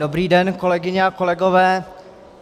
Dobrý den, kolegyně a kolegové.